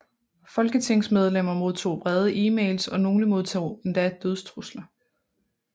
Folketingsmedlemmer modtog vrede emails og nogle modtog endda dødstrusler